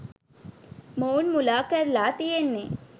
මොවුන් මුලා කරලා තියෙන්නේ.